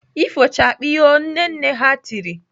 "Ifochakpiiiio" Nne nne ha tiri!